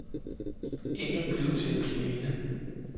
Engen blev til en plæne.